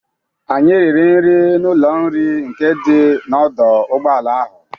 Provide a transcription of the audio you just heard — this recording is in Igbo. Anyị riri nri n'ụlọ nri nke dị n'ọdọ ụgbọala ahụ.